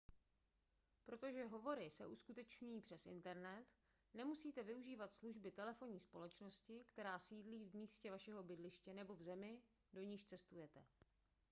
protože hovory se uskutečňují přes internet nemusíte využívat služby telefonní společnosti která sídlí v místě vašeho bydliště nebo v zemi do níž cestujete